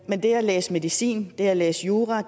men det at læse medicin at læse jura